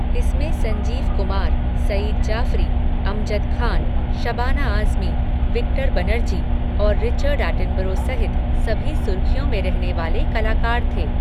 इसमें संजीव कुमार, सईद जाफ़री, अमजद खान, शबाना आज़मी, विक्टर बनर्जी और Richard Attenborough सहित सभी सुर्ख़ियों में रहने वाले कलाकार थे।